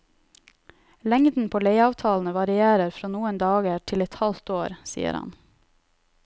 Lengden på leieavtalene varierer fra noen dager til et halvt år, sier han.